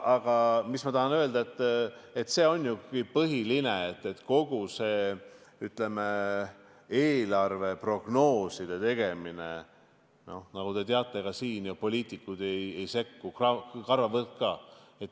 Aga ma tahan öelda, et see on ju põhiline, kogu sellesse eelarve prognooside tegemisse, nagu te teate ka siin, poliitikud ei sekku karvavõrd ka.